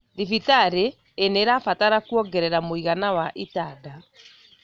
Thibitarĩ inĩrabatara kuongerea mũigana wa itanda